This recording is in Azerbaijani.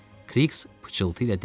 Kriks pıçıltı ilə dedi.